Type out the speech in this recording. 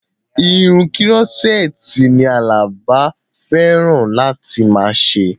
Irun kírọ́sẹ́ẹ̀tì ni Àlàbá fẹ́ràn láti máa ṣe